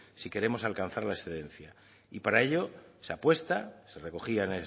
si queremos alcanzar la excelencia para ello se apuesta y se recogía